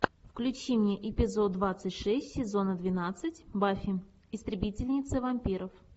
включи мне эпизод двадцать шесть сезона двенадцать баффи истребительница вампиров